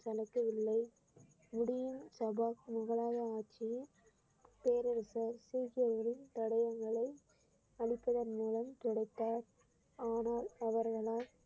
தலைக்கவில்லை முடியும் சபா முகலாய ஆட்சியில் பேரரசர் சீக்கியர்களின் தடயங்களை அளிப்பதன் மூலம் கிடைத்த ஆனால் அவர்களால்